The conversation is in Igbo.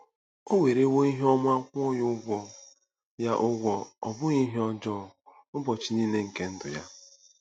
O werewo ihe ọma kwụọ ya ụgwọ, ya ụgwọ, ọ bụghị ihe ọjọọ, ụbọchị niile nke ndụ ya.”